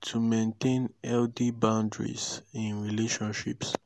to maintain healthy boundaries in relationships?